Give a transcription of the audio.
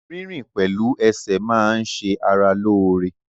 Rírìn pẹ̀lú ẹsẹ̀ máa n ṣe ara lóore